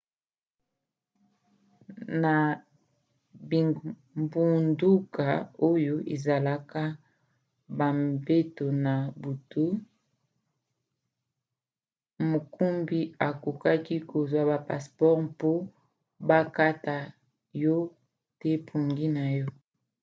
na bingbunduka oyo ezalaka bambeto na butu mokumbi akoki kozwa ba passeport mpo bakata yo te pongi na yo